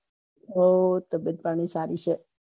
હું તબિયત પાણી સારી છે